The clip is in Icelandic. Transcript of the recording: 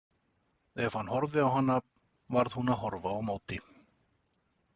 Ef hann horfði á hana varð hún að horfa á móti.